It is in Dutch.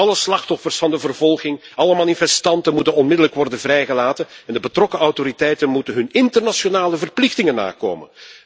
Alle slachtoffers van de vervolging, alle manifestanten moeten onmiddellijk worden vrijgelaten en de betrokken autoriteiten moeten hun internationale verplichtingen nakomen.